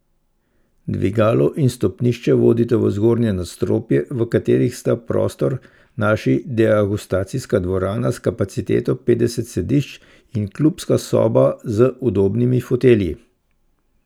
Dvigalo in stopnišče vodita v zgornje nadstropje, v katerih sta prostor našli Degustacijska dvorana s kapaciteto petdeset sedišč in Klubska soba z udobnimi fotelji.